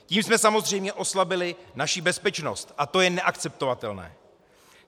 Tím jsme samozřejmě oslabili naši bezpečnost, a to je neakceptovatelné!